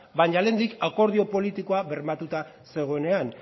baina lehendik akordio politikoa bermatuta zegoenean